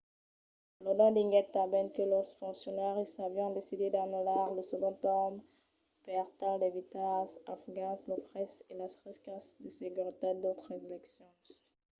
lodin diguèt tanben que los foncionaris avián decidit d'anullar lo segond torn per tal d'evitar als afgans los fraisses e las riscas de seguretat d'autras eleccions